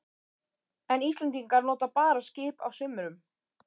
En Íslendingar nota bara skip á sumrum.